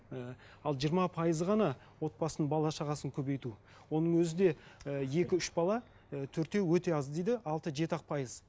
ііі ал жиырма пайызы ғана отбасын бала шағасын көбейту оның өзі де і екі үш бала і төртеу өте аз дейді алты жеті ақ пайыз